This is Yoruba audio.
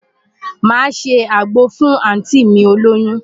Màá ṣe àgbo fún àùntí mi olóyún.